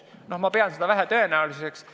Ma pean seda vähetõenäoliseks.